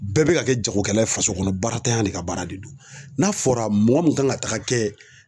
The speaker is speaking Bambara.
Bɛɛ bɛ ka kɛ jagokɛla ye faso kɔnɔ baara ntanya de ka baara de don n'a fɔra mɔgɔ min kan ka taga kɛ